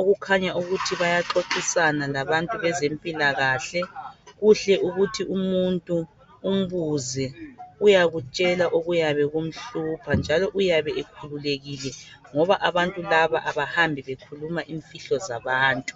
okukhanya ukuthi bayaxoxisana labantu bezempilakahle kuhle ukuthi umuntu umbuze uyakutshela okuyabe kumhlupha njalo uyabe ekhululekile ngoba abantu laba abahambi bekhuluma imfihlo zabantu